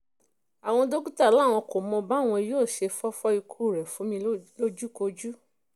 àwọn dókítà làwọn kò mọ báwọn yóò ṣe fọ́fọ́ ikú rẹ̀ fún mi lójúkojú